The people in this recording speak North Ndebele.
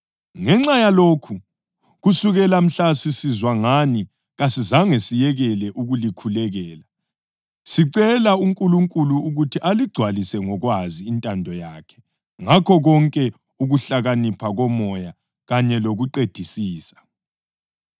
Ngenxa yalokhu, kusukela mhla sisizwa ngani kasizange siyekele ukulikhulekela sicela uNkulunkulu ukuthi aligcwalise ngokwazi intando yakhe ngakho konke ukuhlakanipha koMoya kanye lokuqedisisa.